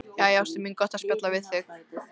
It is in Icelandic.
Jæja, ástin mín, gott að spjalla við þig.